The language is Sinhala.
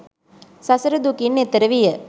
සසර දුකින් එතෙර විය